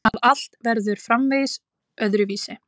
Að allt verður framvegis öðruvísi.